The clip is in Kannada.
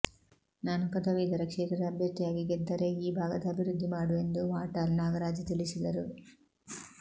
ನಾನು ಪದವೀಧರ ಕ್ಷೇತ್ರದ ಅಭ್ಯರ್ಥಿಯಾಗಿ ಗೆದ್ದರೆ ಈ ಭಾಗದ ಅಭಿವೃದ್ಧಿ ಮಾಡುವೆ ಎಂದು ವಾಟಾಲ್ ನಾಗರಾಜ್ ತಿಳಿಸಿದರು